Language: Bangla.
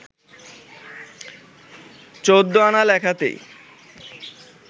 চৌদ্দআনা লেখাতেই